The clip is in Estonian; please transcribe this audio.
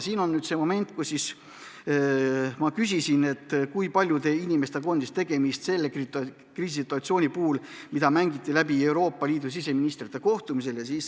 See oli moment, kui ma küsisin, kui paljude inimestega oli tegemist selle kriisisituatsiooni puhul, mis Euroopa Liidu siseministrite kohtumisel läbi mängiti.